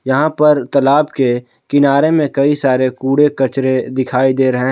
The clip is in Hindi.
यहां पर तालाब के किनारे में कई सारे कूड़े कचरे दिखाई दे रहे--